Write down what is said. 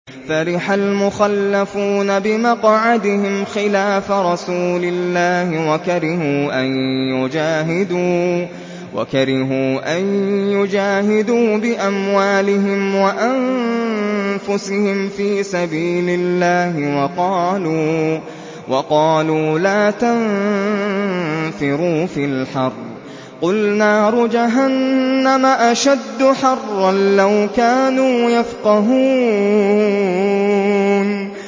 فَرِحَ الْمُخَلَّفُونَ بِمَقْعَدِهِمْ خِلَافَ رَسُولِ اللَّهِ وَكَرِهُوا أَن يُجَاهِدُوا بِأَمْوَالِهِمْ وَأَنفُسِهِمْ فِي سَبِيلِ اللَّهِ وَقَالُوا لَا تَنفِرُوا فِي الْحَرِّ ۗ قُلْ نَارُ جَهَنَّمَ أَشَدُّ حَرًّا ۚ لَّوْ كَانُوا يَفْقَهُونَ